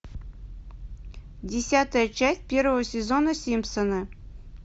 десятая часть первого сезона симпсоны